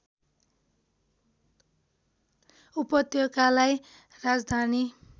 उपत्यकालाई राजधानी